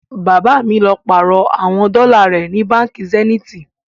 Baba mi lọ láti pàárọ̀ àwọn dọ́là rẹ ni Bánkì Zeniti